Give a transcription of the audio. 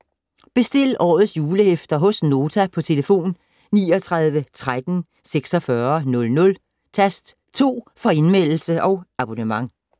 Bestil årets julehæfter hos Nota på telefon 39 13 46 00, tast 2 for Indmeldelse og abonnement.